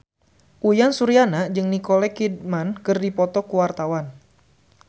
Uyan Suryana jeung Nicole Kidman keur dipoto ku wartawan